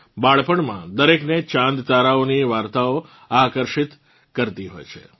બાળપણમાં દરેકને ચાંદતારાઓની વાર્તાઓ આકર્ષિત કરતી હોય છે